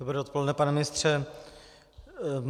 Dobré odpoledne, pane ministře.